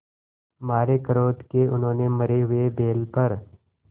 मारे क्रोध के उन्होंने मरे हुए बैल पर